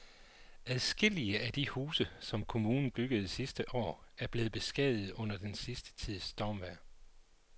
Adskillige af de huse, som kommunen byggede sidste år, er blevet beskadiget under den sidste tids stormvejr.